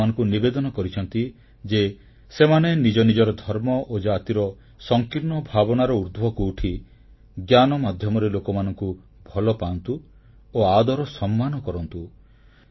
ସେ ଲୋକମାନଙ୍କୁ ନିବେଦନ କରିଛନ୍ତି ଯେ ସେମାନେ ନିଜ ନିଜର ଧର୍ମ ଓ ଜାତିର ସଂକୀର୍ଣ୍ଣ ଭାବନାର ଉର୍ଦ୍ଧ୍ବକୁ ଉଠି ଜ୍ଞାନ ମାଧ୍ୟମରେ ଲୋକମାନଙ୍କୁ ଭଲ ପାଆନ୍ତୁ ଓ ଆଦର ସମ୍ମାନ କରନ୍ତୁ